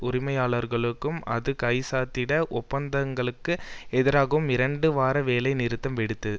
உரிமையாளர்களுடன் அது கைச்சாத்திட்ட ஒப்பந்தங்களுக்கு எதிராகவும் இரண்டு வார வேலை நிறுத்தம் வெடித்தது